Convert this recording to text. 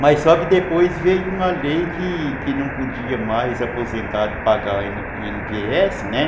Mas só que depois veio uma lei que que não podia mais aposentado pagar o i ene pê esse, né?